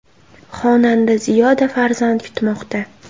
Xonanda Ziyoda farzand kutmoqda.